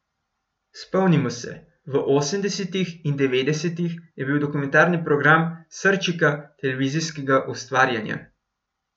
Spomnimo se, v osemdesetih in devetdesetih je bil dokumentarni program srčika televizijskega ustvarjanja.